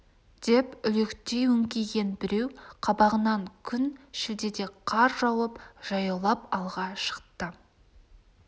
деп үлектей өңкиген біреу қабағынан күн шілдеде қар жауып жаяулап алға шықты